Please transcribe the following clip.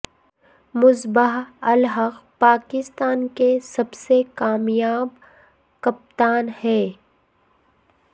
مصباح الحق پاکستان کے سب سے کامیاب کپتان ہیں